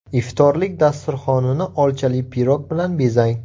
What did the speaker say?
Iftorlik dasturxonini olchali pirog bilan bezang.